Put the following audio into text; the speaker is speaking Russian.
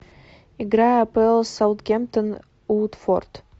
игра апл саутгемптон уотфорд